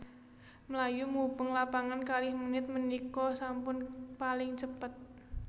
Mlayu mubeng lapangan kalih menit menika sampun paling cepet